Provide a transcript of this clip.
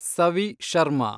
Savi Sharma